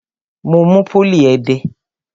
Mo mú pólì ẹdẹ.